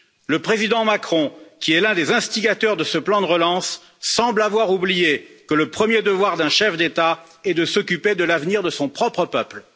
Le président Macron, qui est l'un des instigateurs de ce plan de relance, semble avoir oublié que le premier devoir d'un chef d'État est de s'occuper de l'avenir de son propre peuple.